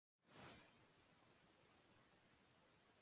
Litir kirkjunnar eru kallaðir litir kirkjuársins.